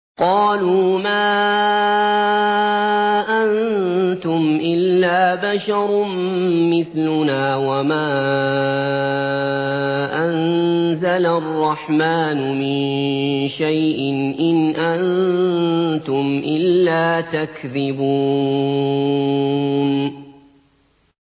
قَالُوا مَا أَنتُمْ إِلَّا بَشَرٌ مِّثْلُنَا وَمَا أَنزَلَ الرَّحْمَٰنُ مِن شَيْءٍ إِنْ أَنتُمْ إِلَّا تَكْذِبُونَ